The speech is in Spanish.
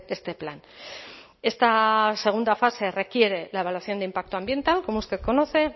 este plan esta segunda fase requiere la evaluación de impacto ambiental como usted conoce